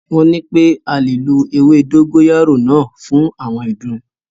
Wọ́n nipé a lè lo ewé dógóyárò náà fún àwọn ìdun.